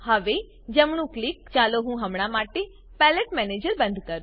હવે જમણું ક્લિક ચાલો હું હમણાં માટે પેલેટ મેનેજર બંધ કરું